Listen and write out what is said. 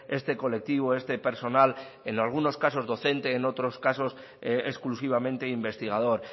este colectivo este personal en algunos casos docente en otros casos exclusivamente investigador